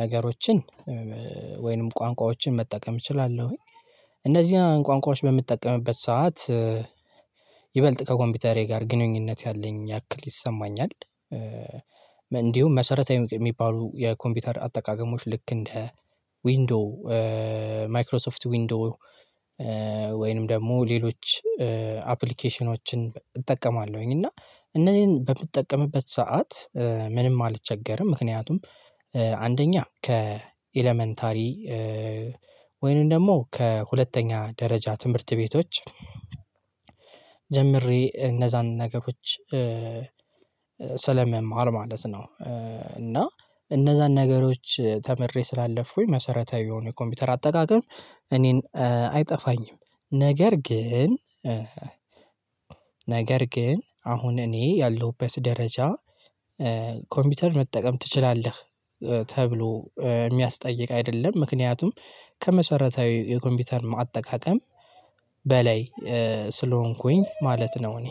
ነገሮችን ወይንም ቋንቋዎችን መጠቀም እችላለሁኝ። እነዚህን ቋንቋዎች በምትጠቀምበት ሰዓት ይበልጥ ከኮምፒውተሬ ጋር ግንኙነት ያለኝ ያክል ይሰማኛል። እንዲሁም መሰረታዊ የሚባሉ የኮምፒውተር አጠቃቀሞች ልክ እንደ ዊንዶው ማይክሮሶፍት ዊንዶው ወይንም ደግሞ ሌሎች አፕሊኬሽኖችን እጠቀማለሁኝ እና እነዚህን በምትጠቀምበት ሰዓት ምንም አልቸገርም ምክንያቱም አንደኛ ከኤለመንታሪ ወይንም ደግሞ ከሁለተኛ ደረጃ ትምህርት ቤቶች ጀምሬ እነዛን ነገሮች ስለምማር ማለት ነው። እና እነዛን ነገሮች ተምሬ ስላለፍኩኝ መሰረታዊ የሆነ ኮምፒውተር አጠቃቀም እኔን አይጠፋኝም። ነገር ግን ነገር ግን አሁን እኔ ያለሁበት ደረጃ ኮምፒውተር መጠቀም ትችላለህ ተብሎ የሚያስጠይቅ አይደለም ምክንያቱም ከመሰረታዊ የኮምፒውተር አጠቃቀም በላይ ስለሆንኩኝ ማለት ነው። እኔ